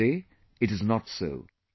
But today it is not so